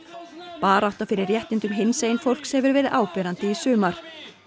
barátta fyrir réttindum hinsegin fólks hefur verið áberandi í sumar